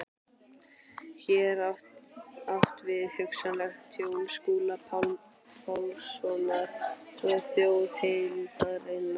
Hér er átt við hugsanlegt tjón Skúla Pálssonar og þjóðarheildarinnar.